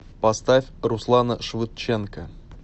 поставь руслана швыдченко